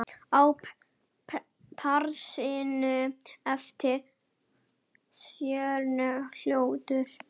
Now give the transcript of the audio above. Á parinu eftir fjórar holur.